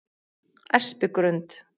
Espigrund